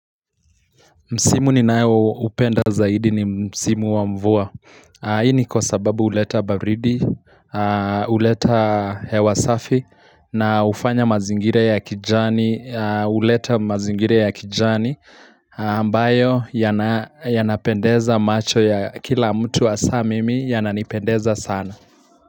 Msimu ninao upenda zaidi ni msimu wa mvua. Hii ni kwa sababu uleta baridi, uleta hewa safi na ufanya mazingira ya kijani ambayo yanapendeza macho ya kila mtu hasa mimi yananipendeza sana.